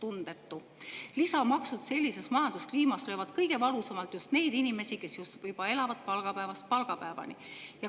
Lisamaksud sellises majanduskliimas löövad kõige valusamalt just neid inimesi, kes juba elavad palgapäevast palgapäevani.